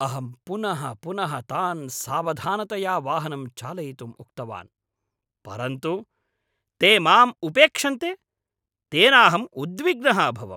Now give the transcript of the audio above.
अहं पुनः पुनः तान् सावधानतया वाहनं चालयितुम् उक्तवान्, परन्तु ते माम् उपेक्षन्ते, तेनाहम् उद्विग्नः अभवम्।